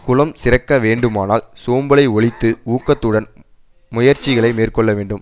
குலம் சிறக்க வேண்டுமானால் சோம்பலை ஒழித்து ஊக்கத்துடன் முயற்சிகளை மேற்கொள்ள வேண்டும்